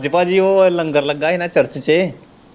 ਅੱਜ ਭਾਜੀ ਉਹ ਲੰਗਰ ਲੱਗਾ ਹੀ ਨਾ church ਚ।